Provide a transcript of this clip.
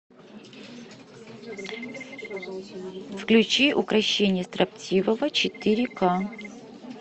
включи укрощение строптивого четыре ка